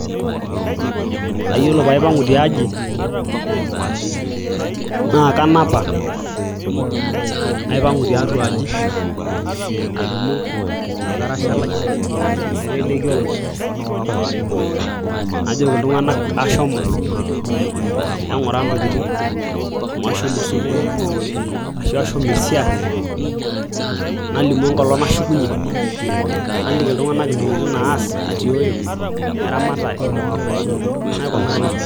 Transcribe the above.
Aa yiolo paipang'u tiaji naakanapa naipang'u tiatua aaji nadumu orkarasha lai naiteleki orony najoki iltung'anak ashomo eng'ura intokitin amu ashomo osupuko ashua ashomo esiai nalimu enkolong nashukunyie nakiki iltung'anak intokitin naas atiooyo eramatare naikunaa nejia.